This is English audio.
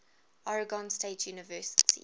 oregon state university